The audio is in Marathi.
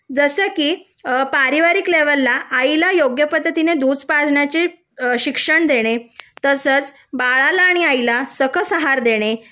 जसे की पारिवारिक लेवलला आईला योग्य पद्धतीने दूध पाजण्याचे शिक्षण देणे तसेच बाळाला आणि आईला सकस आहार देणे